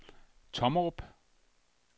Tommerup